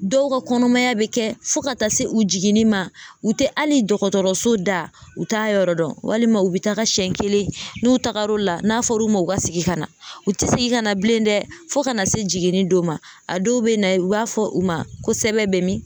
Dɔw ka kɔnɔmaya bɛ kɛ fo ka taa se u jiginni ma u tɛ hali dɔgɔtɔrɔso da u t'a yɔrɔ dɔn walima u bɛ taga siɲɛ kelen n'u tagar'o la n'a fɔr'u ma u ka segin ka na u tɛ segin ka na u tɛ segin ka na bilen dɛ fo ka na se jiginni don ma a dɔw bɛ na i b'a fɔ u ma ko sɛbɛn bɛ min